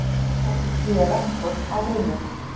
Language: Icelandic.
Nemendur styðja rektor á Bifröst